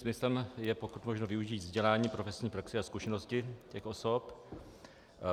Smyslem je pokud možno využít vzdělání, profesní praxi a zkušenosti těch osob.